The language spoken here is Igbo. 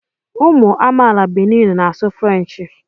Ụmụ amaala Benin na-asụ Frenchị